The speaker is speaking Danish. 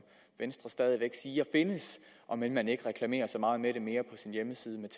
venstre stadig væk siger findes om end man ikke reklamerer så meget med det mere på sin hjemmeside med